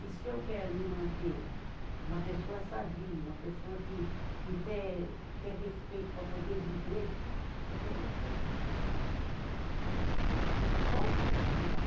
E se eu quero me manter uma pessoa sadia, uma pessoa que, que te tem respeito para poder viver, então eu tenho que, não posso me atirar.